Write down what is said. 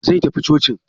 Zai tafi cocin?